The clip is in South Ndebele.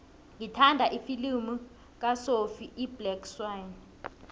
ngithanda ifilimu kasophie iblack swann